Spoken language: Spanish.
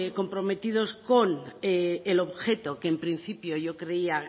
comprometidos con el objeto que en principio yo creía